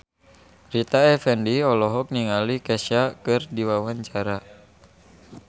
Rita Effendy olohok ningali Kesha keur diwawancara